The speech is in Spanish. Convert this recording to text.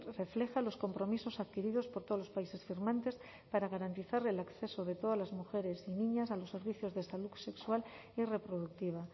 refleja los compromisos adquiridos por todos los países firmantes para garantizar el acceso de todas las mujeres y niñas a los servicios de salud sexual y reproductiva